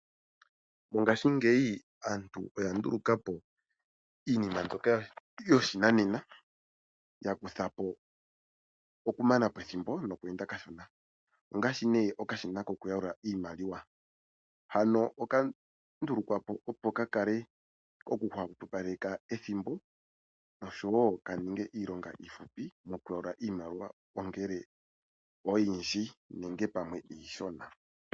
Mongashi ngeyi aantu oya ndulukapo iinima mbyoka yoshinanena yakutha po okumanapo ethimbo nokwenda kashona, ongashi ne okashina ko kuyalula iimaliwa , hano oka ndulukwa po opo kakale koku hupaleka ethimbo osho wo kaninge iilonga ifupu mokuyalula iimaliwa ongele oyindji nenge pamwe ishona.